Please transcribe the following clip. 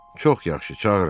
Çox yaxşı, çağırın.